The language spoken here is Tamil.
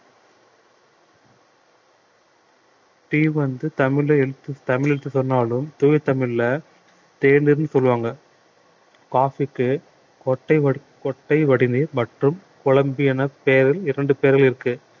tea வந்து தமிழ்ல எழுத்து தமிழ் என்று சொன்னாலும் தூய தமிழ்ல தேநீர்ன்னு சொல்லுவாங்க coffee க்கு கொட்டை வடி~ கொட்டை வடிநீர் மற்றும் கொழும்பி என பெயரில் இரண்டு பெயர்கள் இருக்கு